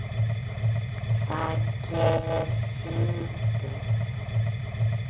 Hvað gerir þingið?